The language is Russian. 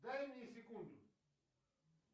дай мне секунду